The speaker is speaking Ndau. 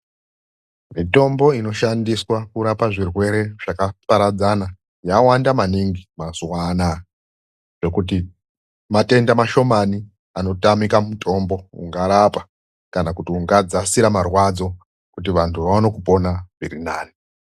MITOMBO INOSHANDISWA KURAPA ZVIRWERE ZVAKAPAPADZANA YAWANDA MANINGI MAZUWA ANAYA , NEKUTI MATENDA MASHOmani ANOTAMIKA MUTOMBO UNGARAPA KANA KUTI UNGADZASIRA MARWADZO Kuti vanhu vaone kupona zvirinani.